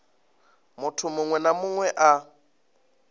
munthu muṅwe na muṅwe a